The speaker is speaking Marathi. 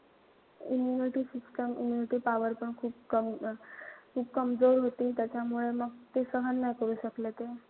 Immunity system, immunity power पण खूप कम खूप कमजोर होती त्यामुळे मग ते सहन नाई करू शकले ते.